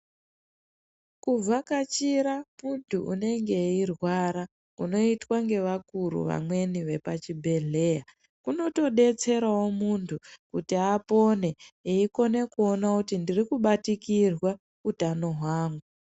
Kuvhakachira muntu unenge eirwara kunoitwa nevakuru vamweni vanenge vari muchibhohlera kunotodetserawo muntu kuti apone eiona kuona kuti ndiri kubatikirwa hutano hwawo.